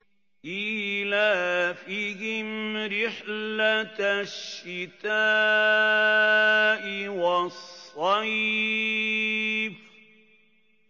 إِيلَافِهِمْ رِحْلَةَ الشِّتَاءِ وَالصَّيْفِ